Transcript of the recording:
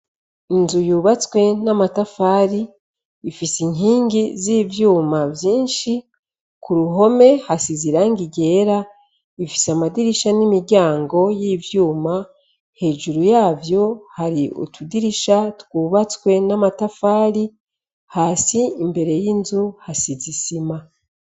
Inzu yubatswe n'amatafari ifise inkingi z'ivyuma vyinshi ku ruhome hasi ziranga igera ifise amadirisha n'imiryango y'ivyuma hejuru yavyo hari utudirisha twubatswe n'amatafari hasi imbere y'inzu he sizisima.